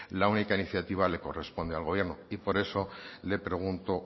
la única iniciativa la corresponde al gobierno y por eso le pregunto